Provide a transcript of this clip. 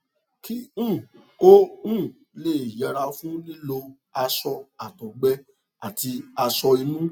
kí um o um lè yẹra fún lílo aṣọ àtọgbẹ àti aṣọ inú